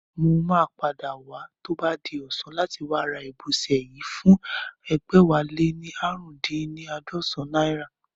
Mo máa padà wá tó bá di ọ̀sán láti wá ra ìbọsẹ̀ yìí fún ẹgbẹ̀wáléní ààrùndínní àádọ́sán náírà